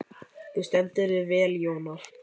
Þú stendur þig vel, Jónar!